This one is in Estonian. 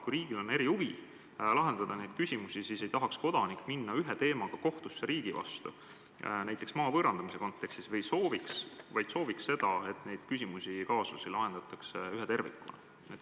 Kui riigil on erihuvi neid probleeme lahendada, siis ei tahaks kodanik minna ühe teemaga riigi vastu kohtusse, näiteks maa võõrandamise kontekstis, vaid sooviks, et neid küsimusi ja kaasusi lahendataks ühe tervikuna.